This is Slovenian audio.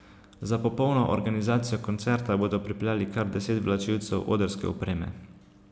Za popolno organizacijo koncerta bodo pripeljali kar deset vlačilcev odrske opreme.